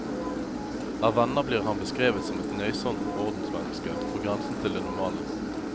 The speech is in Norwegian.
Av venner blir han beskrevet som et nøysomt ordensmenneske, på grensen til det normale.